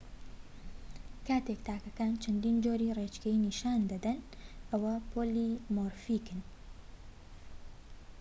کاتێک تاکەکان چەندین جۆری ڕێچکەیەکی نیشان دەدەن ئەوە پۆلیمۆرفیکن